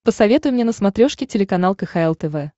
посоветуй мне на смотрешке телеканал кхл тв